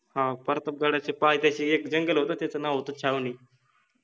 हा प्रतापगडाच्या पायथ्याशि एक जंगल होत त्याच नाव होत छावनि,